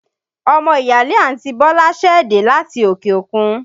Ọmọ ìyáálé àǹti Bọ́lá ṣẹ̀ dé láti òkè òkun